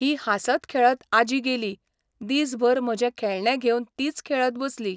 ही हांसत खेळत आजी गेली, दीस भर म्हजें खेळणें घेवन तीच खेळत बसली!